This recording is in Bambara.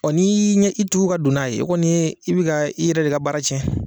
n'i ɲɛ y'i tugu ka don n'a ye o kɔni ye i bi ka e yɛrɛ de ka baara tiɲɛ.